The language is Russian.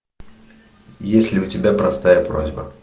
есть ли у тебя простая просьба